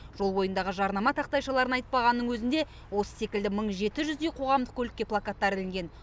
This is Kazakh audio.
жол бойындағы жарнама тақтайшаларын айтпағанның өзінде осы секілді мың жеті жүздей қоғамдық көлікке плакаттар ілінген